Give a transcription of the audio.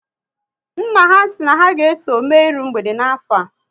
Nna ha si na ha ga eso mme iru mgbede n'afọ a